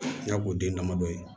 N y'a k'o den damadɔ ye